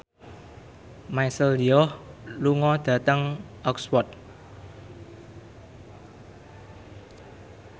Michelle Yeoh lunga dhateng Oxford